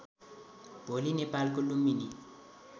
भोलि नेपालको लुम्बिनी